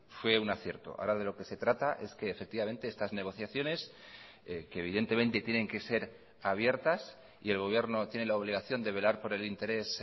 fue una acierto ahora de lo que se trata es que efectivamente estas negociaciones que evidentemente tienen que ser abiertas y el gobierno tiene la obligación de velar por el interés